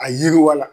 A yiriwala